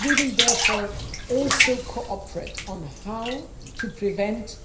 We will therefore also cooperate on how to prevent